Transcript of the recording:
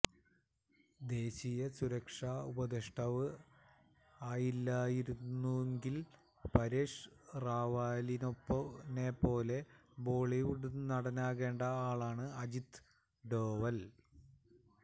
ദേശീയ സുരക്ഷാ ഉപദേഷ്ടാവ് ആയില്ലായിരുന്നെങ്കിൽ പരേഷ് റാവലിനെപ്പോലെ ബോളിവുഡ് നടനാകേണ്ട ആളാണ് അജിത് ഡോവൽ